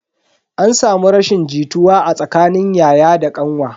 An samu rashin jituwa a tsakanin yaya da kanwa.